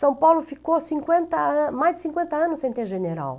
São Paulo ficou cinquenta an mais de cinquenta anos sem ter general.